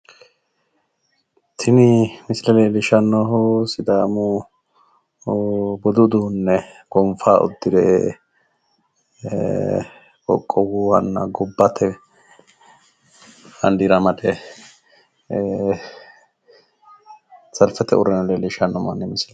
Tini misile leellishshannohu sidaamu budu uduunne gonfa uddire qoqowuhana gobbate baandiira amade ee salfete uurrino manni leellishshanno misileeti.